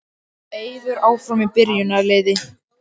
Eiður áfram í byrjunarliði